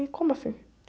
E como assim?